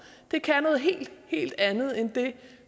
det kan noget helt helt andet end det